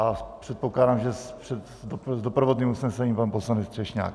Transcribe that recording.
A předpokládám, že s doprovodným usnesením pan poslanec Třešňák.